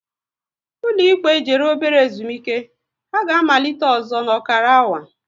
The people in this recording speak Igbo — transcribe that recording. Ụlọ ikpe jere ebere ezumike, ha ga amalite ọzọ n'okara awa